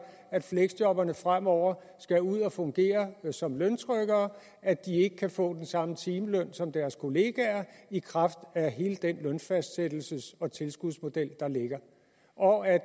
at fleksjobberne fremover skal ud og fungere som løntrykkere at de ikke kan få den samme timeløn som deres kollegaer i kraft af hele den lønfastsættelses og tilskudsmodel der ligger og at